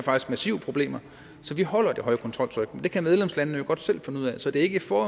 massive problemer så de holder det høje kontroltryk det kan medlemslandene jo godt selv finde ud af så det er ikke for